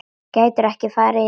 Gætirðu ekki farið í megrun?